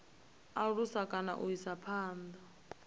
alusa kana u isa phanda